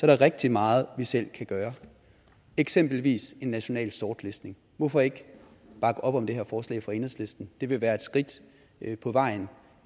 der rigtig meget vi selv kan gøre eksempelvis en national sortlistning hvorfor ikke bakke op om det her forslag fra enhedslisten det vil være et skridt på vejen